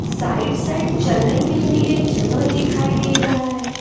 Side side चलने के लिए जगह दिखाई दे रहा है।